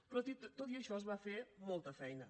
però tot i això es va fer molta feina